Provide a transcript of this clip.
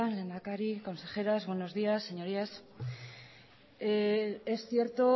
lehendakari consejeras buenos días señorías es cierto